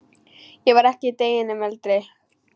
Ég var ekki deginum eldri.